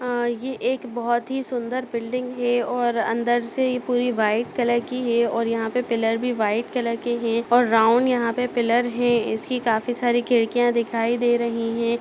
आ ये एक बहुत ही सुंदर बिल्डिंग है और अंदर से यह पूरी व्हाइट कलर की है और यहां पर पिलर भी वाइट कलर के है और राउंड यहां पर पिलर है ऐसी काफी सारी खिड़कियां दिखाई दे रही है।